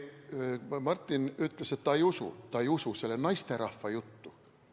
Martin ütles, et ta ei usu selle naisterahva juttu.